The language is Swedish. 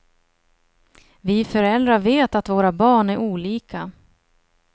Vi föräldrar vet att våra barn är olika.